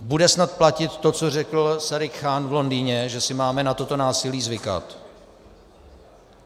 Bude snad platit to, co řekl Sadiq Khan v Londýně, že si máme na toto násilí zvykat?